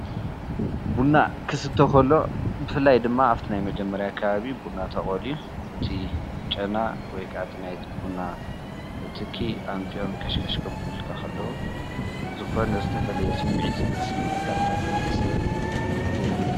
ቡና ክስተ ከሎ ብፍላይ ድማ ኣብቲ ናይ መጀመርታ ከባቢ ቡና ተቀለዩ እቲ ጨና ወይ ከዓ እቲ ናይቲ ቡና ትኪ ኣምፂኦም ከሽከሽ ከቡሉልካ ከለዉ ዝኮነ ዝተፈለየ ስምዒት ሰለዝስመዐካ ብጣዕሚ እዩ ደስ ዝብል ኣዝየ እየ ዝፈትዎ::